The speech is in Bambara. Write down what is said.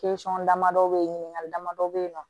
dama dɔ be yen ɲininkali damadɔ bɛ yen nɔ